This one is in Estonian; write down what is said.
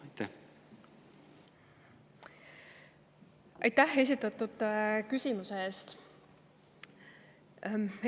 Aitäh esitatud küsimuse eest!